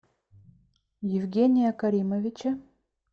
евгения каримовича